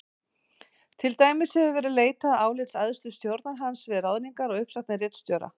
Til dæmis hefur verið leitað álits æðstu stjórnar hans við ráðningar og uppsagnir ritstjóra.